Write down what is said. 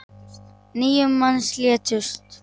Níu manns létust.